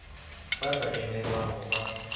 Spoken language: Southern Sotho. ba sa emelwang ho ba